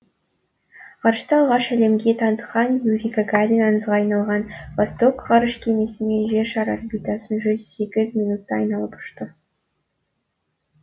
ғарышты алғаш әлемге танытқан юрий гагарин аңызға айналған восток ғарыш кемесімен жер шары орбитасын жүз сегіз минутта айналып ұшты